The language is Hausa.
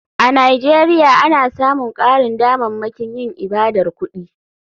A nigeria ana samun karin damammakin yin ibadar kudi.